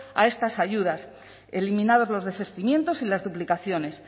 a estas ayudas eliminados los desistimientos y las duplicaciones